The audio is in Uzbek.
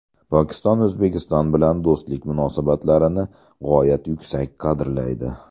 Pokiston O‘zbekiston bilan do‘stlik munosabatlarini g‘oyat yuksak qadrlaydi.